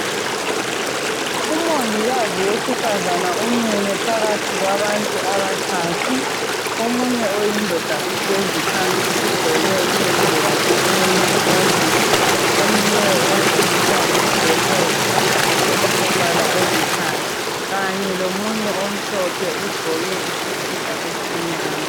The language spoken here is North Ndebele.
Umongikazi wesifazana umile phakathi kwabantu abathathu. Omunye oyindoda uhlezi phansi ugqoke iyembe yakhe elemizilazila, omileyo owesilisa ugqoke isikipa esilithanga, kanye lomunye omhlophe ogqoke isikipa esimnyama.